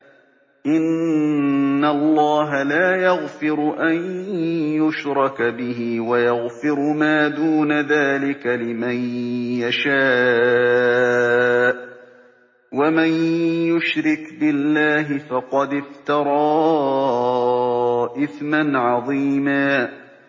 إِنَّ اللَّهَ لَا يَغْفِرُ أَن يُشْرَكَ بِهِ وَيَغْفِرُ مَا دُونَ ذَٰلِكَ لِمَن يَشَاءُ ۚ وَمَن يُشْرِكْ بِاللَّهِ فَقَدِ افْتَرَىٰ إِثْمًا عَظِيمًا